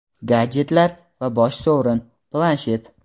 gadjetlar va bosh sovrin – Planshet.